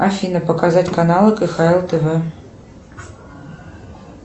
афина показать каналы кхл тв